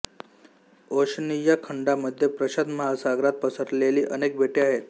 Oceania खंडामध्ये प्रशांत महासागरात पसरलेली अनेक बेटे आहेत